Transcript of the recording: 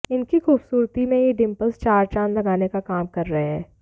इनकी खूबसूरती में ये डिंपल्स चार चांद लगाने का काम कर रहे हैं